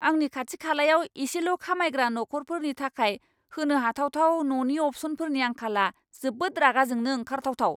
आंनि खाथि खालायाव एसेल' खामायग्रा नखरफोरनि थाखाय होनो हाथावथाव न'नि अप्शनफोरनि आंखाला जोबोद रागा जोंनो ओंखारथावथाव!